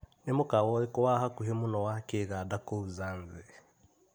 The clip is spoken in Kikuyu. Nĩ mũkawa ũrĩkũ wa hakuhĩ mũno wa Kĩganda kũu Zanzĩ?